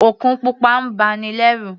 Òkun pupa ń ba ni lẹ́rù.